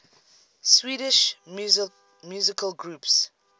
swedish musical groups